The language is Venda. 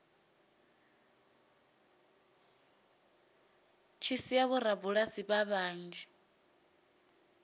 tshi sia vhorabulasi vhanzhi vha